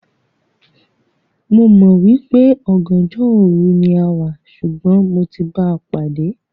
Mò mọ̀ wípé "ọ̀gànjọ́ òru" ni a wá, ṣùgbọ́n mo ti báa pàdé.